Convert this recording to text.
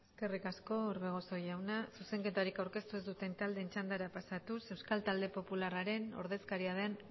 eskerrik asko orbegozo jauna zuzenketarik aurkeztu ez duten taldeen txandara pasatuz euskal talde popularraren ordezkaria den